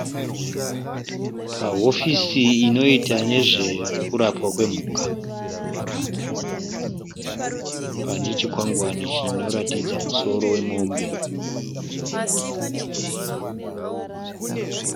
Pahofisi inoita nezvekurapwa kwemhuka. Pane chikwangwani chinoratidza musoro wemombe.